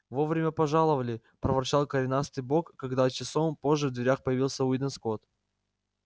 вовремя пожаловали проворчал коренастый бог когда часом позже в дверях появился уидон скотт